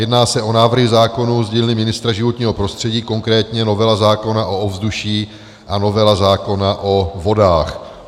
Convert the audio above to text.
Jedná se o návrhy zákonů z dílny ministra životního prostředí, konkrétně novela zákona o ovzduší a novela zákona o vodách.